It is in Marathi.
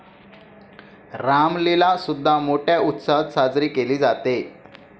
रामलीला सुद्धा मोठ्या उत्साहात साजरी केली जाते.